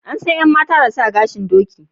An san yan mata da sa gashin doki